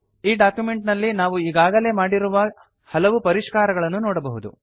ಈ ಡಾಕ್ಯುಮೆಂಟ್ ನಲ್ಲಿ ನಾವು ಈಗಾಗಲೇ ಮಾಡಿರುವ ಹಲವು ಪರಿಷ್ಕಾರಗಳನ್ನು ನೋಡಬಹುದು